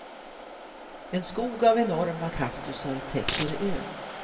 En skog av enorma kaktusar täcker ön.